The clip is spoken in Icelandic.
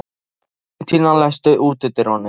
Valentína, læstu útidyrunum.